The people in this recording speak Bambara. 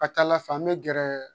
Ka ca ala fɛ an bɛ gɛrɛ